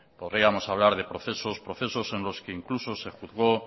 podríamos hablar de procesos procesos en los que incluso se juzgó